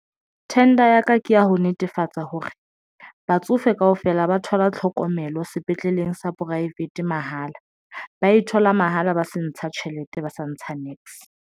Tender ya ka ke ya ho netefatsa hore batsofe kaofela ba thola tlhokomelo sepetleleng sa poraefete mahala, ba e thola mahala, ba sa ntsha tjhelete, ba sa ntsha niks.